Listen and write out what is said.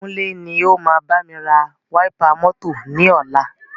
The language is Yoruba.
Kúnlé ni o máa bámi ra wáípà mọ́tọ̀ ni ọ̀la.